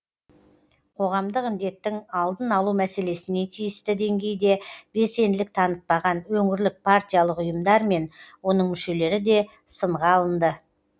қоғамдық індеттің алдын алу мәселесіне тиісті деңгейде белсенділік танытпаған өңірлік партиялық ұйымдар мен оның мүшелері де сынға алынды